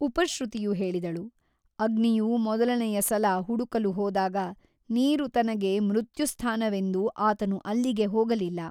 ಉಪಶ್ರುತಿಯು ಹೇಳಿದಳು ಅಗ್ನಿಯು ಮೊದಲನೆಯ ಸಲ ಹುಡುಕಲು ಹೋದಾಗ ನೀರು ತನಗೆ ಮೃತ್ಯುಸ್ಥಾನವೆಂದು ಆತನು ಅಲ್ಲಿಗೆ ಹೋಗಲಿಲ್ಲ.